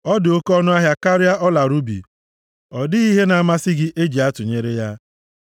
Ọ dị oke ọnụahịa karịa ọla rubi, ọ dịghị ihe na-amasị gị e ji atụnyere ya.